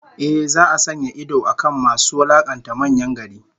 Ehh, za'a sanya idon akan masu wulakanta manyan gari